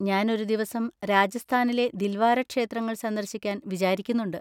ഞാൻ ഒരു ദിവസം രാജസ്ഥാനിലെ ദിൽവാര ക്ഷേത്രങ്ങൾ സന്ദർശിക്കാൻ വിചാരിക്കുന്നുണ്ട്.